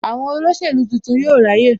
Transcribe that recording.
Àwọn olóṣèlú tuntun yóò ráyè